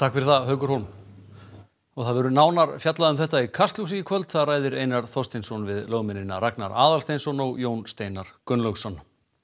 fyrir það og það verður nánar fjallað um þetta í Kastljósi í kvöld þar ræðir Einar Þorsteinsson við lögmennina Ragnar Aðalsteinsson og Jón Steinar Gunnlaugsson